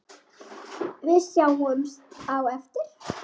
Við sjáumst á eftir.